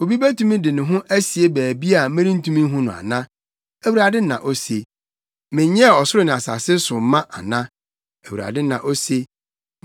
Obi betumi de ne ho asie baabi a merentumi nhu no ana?” Awurade na ose. “Menyɛɛ ɔsoro ne asase so ma ana?” Awurade na ose.